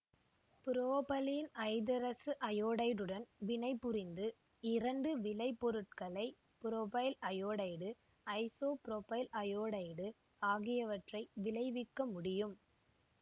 propylene ஐதரசஅயோடைடுடன் வினைபுரிந்து இரண்டு விளைபொருட்களை புரொபைல் அயோடைடு ஐசோபுரொபைல் அயோடைடு ஆகியவற்றை விளைவிக்க முடியும்